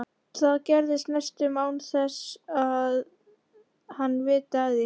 Það gerist næstum án þess að hann viti af því.